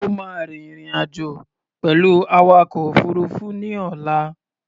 O máa rin ìrìn-àjò pẹ̀lú awakọ̀ òfuruufú ní ọ̀la.